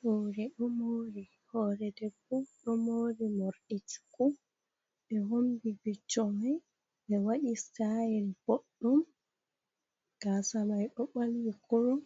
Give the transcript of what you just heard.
Hore ɗo mori. Hore debbo ɗo mori morɗi cuku. Ɓe hombi vicco mai, ɓe waɗi stayel boɗɗum gasamai ɗo ɓalwi kurum.